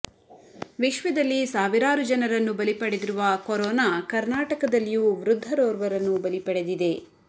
ವಿಶ್ವದಲ್ಲಿ ಸಾವಿರಾರು ಜನರನ್ನು ಬಲಿ ಪಡೆದಿರುವ ಕೊರೋನಾ ಕರ್ನಾಟಕದಲ್ಲಿಯೂ ವೃದ್ಧರೋರ್ವರನ್ನು ಬಲಿ ಪಡೆದಿದೆ